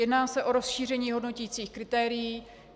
Jedná se o rozšíření hodnoticích kritérií.